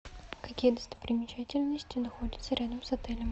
какие достопримечательности находятся рядом с отелем